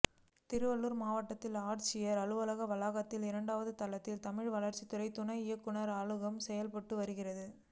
திருவள்ளுர் மாவட்ட ஆட்சியர் அலுவலக வளாகத்தில் இரண்டாவது தளத்தில் தமிழ் வளர்ச்சித்துறை துணை இயக்குநர் அலுவலகம் செயல்பட்டு வருகிறது